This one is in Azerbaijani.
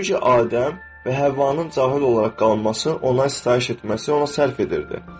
Çünki Adəm və Həvvanın cahil olaraq qalması, ona sitayiş etməsi ona sərf edirdi.